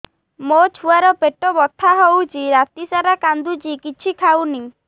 ମୋ ଛୁଆ ର ପେଟ ବଥା ହଉଚି ରାତିସାରା କାନ୍ଦୁଚି କିଛି ଖାଉନି